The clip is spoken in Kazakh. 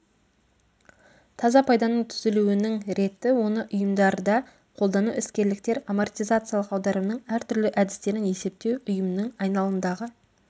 таза пайданың түзілуінің реті оны ұйымдарда қолдану іскерліктер амортизациялық аударымның әртүрлі әдістерін есептеу ұйымның айналымдағы